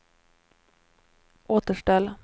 återställ